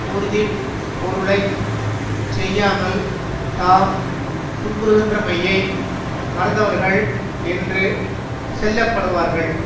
உறுதி பொருளை செய்யாமல் தாம் துன்புறுகின்றமையை மறந்தவர்கள் என்று செல்லப்படுவார்கள்